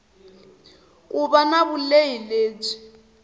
ku va na vulehi lebyi